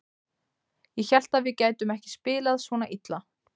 Ég hélt að við gætum ekki spilað svona illa.